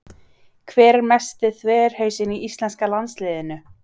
Hver er mesti þverhausinn í íslenska landsliðinu?